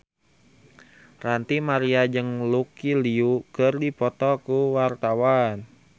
Ranty Maria jeung Lucy Liu keur dipoto ku wartawan